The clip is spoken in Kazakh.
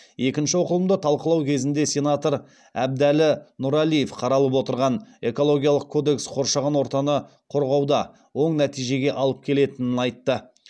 екінші оқылымда талқылау кезінде сенатор әбдәлі нұралиев қаралып отырған экологиялық кодекс қоршаған ортаны қорғауда оң нәтижеге алып келетінін айтты